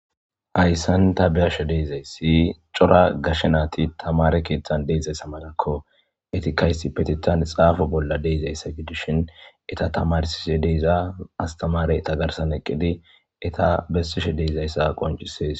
Hayssan ta bi7ashe deezayssi cora gashe naati tamare keeththan de7zayssa malakko. Etikaysi petithan xaafo bolla de7izayssa gidishin eta tamarsishe deeza astamarey tagarsan eqqidi eta bessishe deezayssa qoncisees.